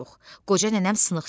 Qoca nənəm sınıqçı idi.